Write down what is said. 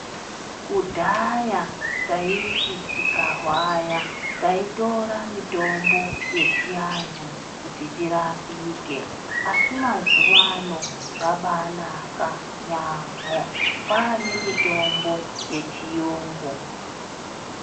Kudhaya taiti tikarwara taitora mitombo yechiantu kuti tirapike. Asi mazuwaano zvabaanaka yaamho, kwaane mitombo yechiyungu